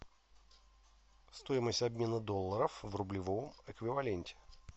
стоимость обмена долларов в рублевом эквиваленте